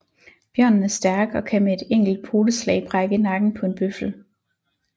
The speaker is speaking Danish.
Bjørnen er stærk og kan med et enkelt poteslag brække nakken på en bøffel